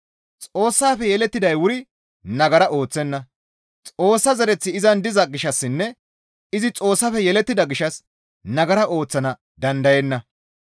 Xoossafe yelettiday wuri nagara ooththenna; Xoossa zereththi izan diza gishshassinne izi Xoossafe yelettida gishshas nagara ooththana dandayenna.